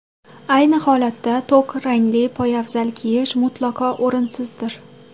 Ayni holatda, to‘q rangli poyabzal kiyish mutlaqo o‘rinsizdir.